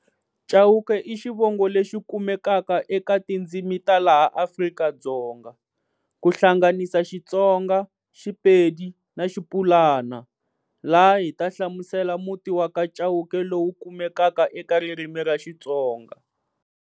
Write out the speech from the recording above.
Chauke i xivongo lexi kumekaka eka tindzimi ta laha Afrika-Dzonga, ku hlanganisa Xitsonga, Xipedi na Xipulana, laha hi ta hlamusela muti wa ka Cauke lowu kumekaka eka ririmi ra Xitsonga.